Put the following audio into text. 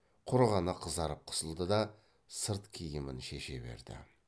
құр ғана қызарып қысылды да сырт киімін шеше берді